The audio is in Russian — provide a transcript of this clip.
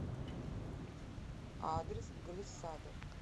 адрес глиссада